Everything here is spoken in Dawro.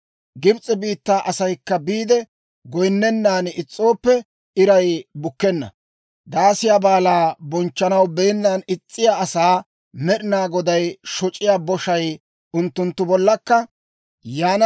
Gibs'e biittaa asaykka biide goyinnennan is's'ooppe iray bukkenna, Daasiyaa Baalaa bonchchanaw beennan is's'iyaa asaa Med'inaa Goday shoc'iyaa boshay unttunttu bollankka yaana.